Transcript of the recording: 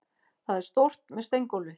Það er stórt, með steingólfi.